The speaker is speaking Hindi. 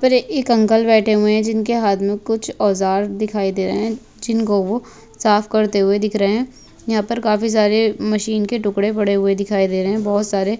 फिर एक अंकल बैठे हुए है जिनके हाथ में कुछ औज़ार दिखाई दे रहे है जिन को वो साफ़ करते हुए दिख रहे है यहाँ पर काफी सारे मशीन के टुकड़े पड़े हुए दिखाई दे रहे है बहुत सारे